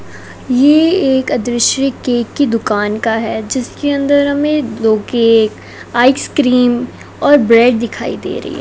ये एक अदृश्य केक की दुकान का है जिसके अंदर हमें दो केक आइसक्रीम और ब्रेड दिखाई दे रही है।